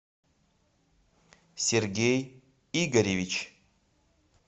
сергей игоревич